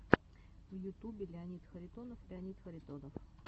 в ютубе леонид харитонов леонид харитонов